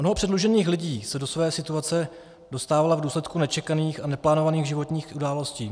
Mnoho předlužených lidí se do své situace dostávalo v důsledku nečekaných a neplánovaných životních událostí.